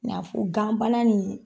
Ɲ'a fɔ ganbana nin